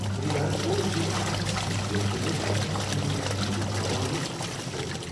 خریدارن اوس زو اتھس کیتھ ییٚلہ تمو بنٛکس ژُور گژھنہٕ وز پان اوس پتھر ترٛوومت۔